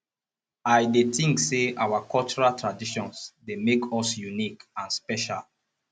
i dey think say our cultural traditions dey make us unique and special